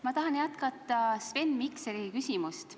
Ma tahan jätkata Sven Mikseri küsimust.